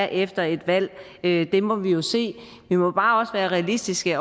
efter et valg det må vi jo se vi må bare også være realistiske